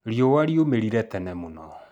Riũa riumĩrire tene mũno